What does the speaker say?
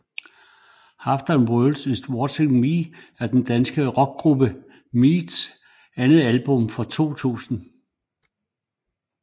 Half The World is Watching Me er den danske rockgruppe Mews andet album fra 2000